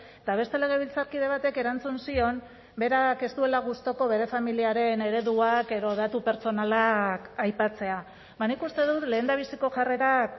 eta beste legebiltzarkide batek erantzun zion berak ez duela gustuko bere familiaren ereduak edo datu pertsonalak aipatzea ba nik uste dut lehendabiziko jarrerak